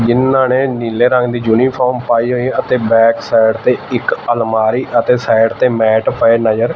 ਜਿੰਨਾ ਨੇਂ ਨੀਲੇ ਰੰਗ ਦੀ ਯੂਨੀਫ਼ਾਰਮ ਪਾਈ ਹੋਈ ਹੈ ਅਤੇ ਬੈਕਸਾਈਡ ਤੇ ਇੱਕ ਅਲਮਾਰੀ ਅਤੇ ਸਾਈਡ ਤੇ ਮੈਟ ਪਏ ਨਜਰ--